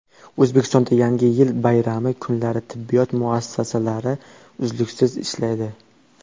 O‘zbekistonda Yangi yil bayrami kunlari tibbiyot muassasalari uzluksiz ishlaydi.